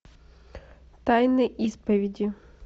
тайны исповеди